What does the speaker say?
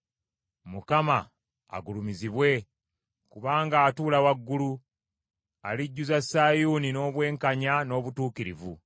Mukama agulumizibwe, kubanga atuula waggulu, alijjuza Sayuuni n’obwenkanya n’obutuukirivu.